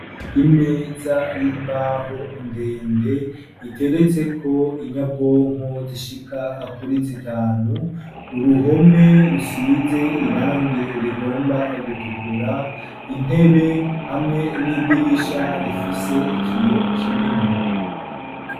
Imeza y'imbaho ndende iteretseko inyabwonko zishika kuri zitanu uruhome rusize irangi rigomba gutukura intebe hamwe n'idirisha rifise ikiyo kinini.